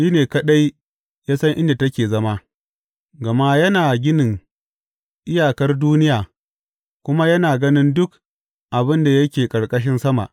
Shi ne kaɗai ya san inda take zama, Gama yana ganin iyakar duniya kuma yana ganin duk abin da yake ƙarƙashin sama.